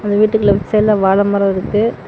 அந்த வீட்டுக்கு லெஃப்ட் சைடுல வாழ மரம் இருக்கு.